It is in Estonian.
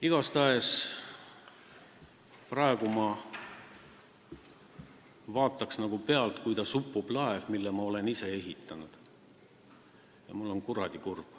Igatahes ma praegu vaataksin pealt nagu seda, kuidas upub laev, mille ma olen ise ehitanud, ja ma olen kuradi kurb.